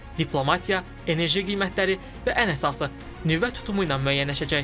Diplomatiya, enerji qiymətləri və ən əsası nüvə tutumu ilə müəyyənləşəcək.